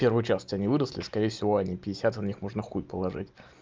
первые часть они выросли скорее всего они пятьдесят и в них можно хуй положить